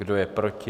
Kdo je proti?